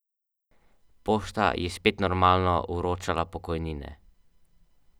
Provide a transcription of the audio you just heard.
Tisti, ki delajo.